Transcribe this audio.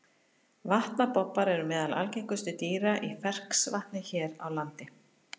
Vatnabobbar eru meðal algengustu dýra í ferskvatni hér á landi.